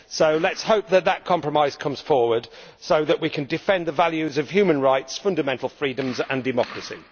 So let us hope that that compromise emerges so that we can defend the values of human rights, fundamental freedoms and democracy.